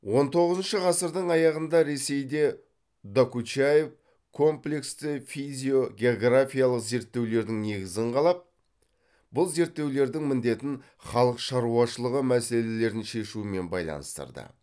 он тоғызыншы ғасырдың аяғында ресейде докучаев комплексті физиогеографиялық зерттеулердің негізін қалап бұл зерттеулердің міндетін халық шаруашылығы мәселелерін шешумен байланыстырды